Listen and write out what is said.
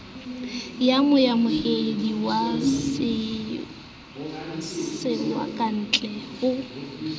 ka moamohedi wa setswakantle ho